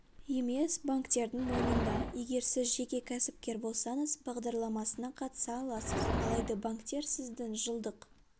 емес банктердің мойнында егер сіз жеке кәсіпкер болсаңыз бағдарламасына қатыса аласыз алайда банктер сіздің жылдық